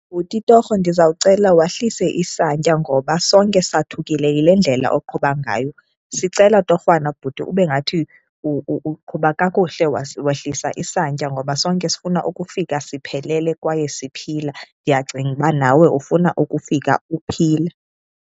Bhuti, torho ndizawucela wehlise isantya ngoba sonke sathukile yile ndlela oqhuba ngayo. Sicela torhwana bhuti ube ngathi uqhuba kakuhle, wehlise isantya ngoba sonke sifuna ukufika siphelele kwaye siphila, ndiyacinga uba nawe ufuna ukufika uphila.